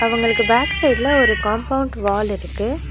அவுங்களுக்கு பேக் சைடுல ஒரு காம்பவுண்ட் வால் இருக்கு.